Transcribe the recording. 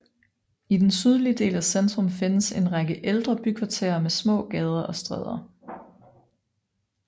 I den sydlige del af centrum findes en række ældre bykvarterer med små gader og stræder